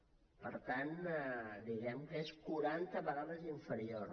per tant diguem ne que és quaranta vegades inferior